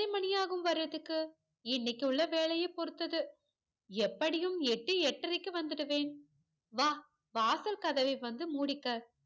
மணியாகும் வரதுக்கு இன்னைக்கு உள்ள வேலைய பொறுத்து எப்படியும் எட்டு எட்டரைக்கு வந்துருவேன் வா வாசல் கதவை வந்து மூடிக்க